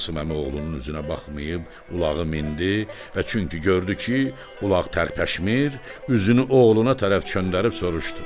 Qasım əmi oğlunun üzünə baxmayıb ulağı mindi və çünki gördü ki, ulaq tərpəşmir, üzünü oğluna tərəf çönüb soruşdu: